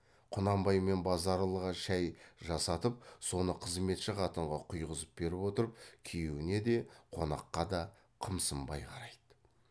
құнанбай мен базаралыға шай жасатып соны қызметші қатынға құйғызып беріп отырып күйеуіне де қонаққа да қымсынбай қарайды